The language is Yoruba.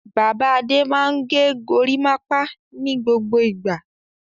Bàbá Adé máa ń gẹ gorímápá ní gbogbo ìgbà.